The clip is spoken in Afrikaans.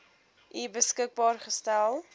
u beskikbaar gestel